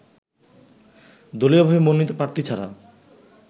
দলীয়ভাবে মনোনীত প্রার্থী ছাড়া